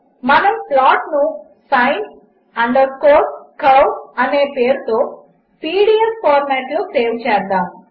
మనముప్లాట్నుsin curveఅనేపేరుతోpdfఫార్మాట్లోసేవ్చేద్దాము